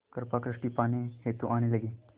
कृपा दृष्टि पाने हेतु आने लगे